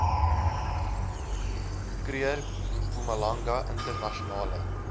kruger mpumalanga internasionale